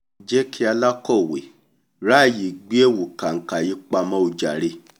jẹ́ kí alákọ̀wé ráàyè gbé ẹ̀wù kànkà yìí pamọ́ o jàre